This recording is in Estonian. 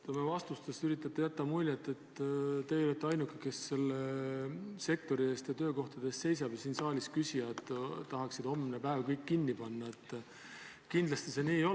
Kui te oma vastustes üritate jätta muljet, et teie olete ainuke, kes selle sektori eest ja nende töökohtade eest seisab ja et siin saalis küsijad tahaksid homne päev kõik kinni panna, siis kindlasti see nii ei ole.